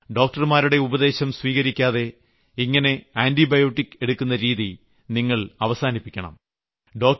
എന്നാൽ ഡോക്ടർമാരുടെ ഉപദേശം സ്വീകരിക്കാതെ ഇങ്ങനെ ആന്റിബയോട്ടിക് എടുക്കുന്ന രീതി നിങ്ങൾ അവസാനിപ്പിക്കണം